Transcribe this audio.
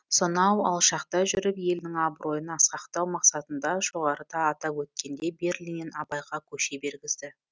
сонау алшақта жүріп елінің абыройын асқақтау мақсатында жоғарыда атап өткендей берлиннен абайға көше бергізді